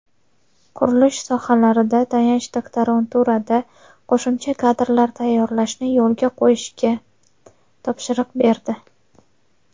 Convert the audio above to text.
qurilish sohalarida tayanch doktoranturada qo‘shimcha kadrlar tayyorlashni yo‘lga qo‘yishga topshiriq berdi.